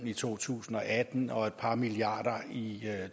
i to tusind og atten og et par milliarder i